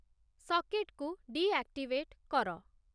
ସକେଟକୁ deactivate କର